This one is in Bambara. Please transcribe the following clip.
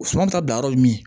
Suma ta yɔrɔ ye min ye